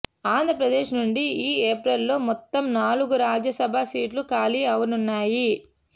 ఆంధ్రప్రదేశ్ నుండి ఈ ఏప్రిల్లో మొత్తం నాలుగు రాజ్యసభ సీట్లు ఖాళీ అవనున్నాయి